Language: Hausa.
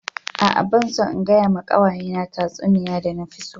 A'a ban son in gaya ma kawaye na tatsuniya da na fi so.